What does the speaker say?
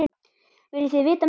Viljið þið vita meira?